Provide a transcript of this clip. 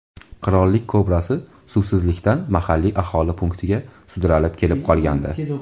Qirollik kobrasi suvsizlikdan mahalliy aholi punktiga sudralib kelib qolgandi .